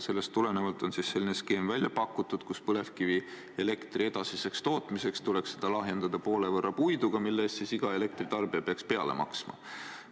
Sellest tulenevalt on selline skeem välja pakutud, et põlevkivielektri edasiseks tootmiseks tuleks seda lahjendada poole võrra puiduga, millele iga elektritarbija peaks peale maksma.